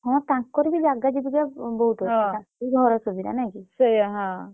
ହଁ ତାନକର ବି ଜାଗା ଜୁଗୁତି ଆ ବହୁତ୍ ଅଛି ସାଶୁ ଘର ସୁବିଧା ନାଇଁ କି ।